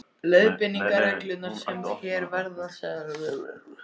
Leiðbeiningarreglurnar, sem hér verða settar fram, eru nánar þessar